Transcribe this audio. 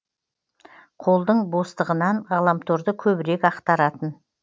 қолдың бостығынан ғаламторды көбірек ақтаратын